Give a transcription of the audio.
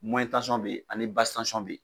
bɛ yen ani bɛ yen